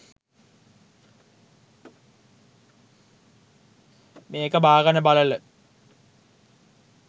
මේක බාගන බලල